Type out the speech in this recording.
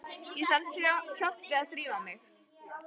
Ég þarf hjálp við að þrífa mig.